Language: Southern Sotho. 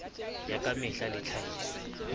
ya ka mehla le tlhahiso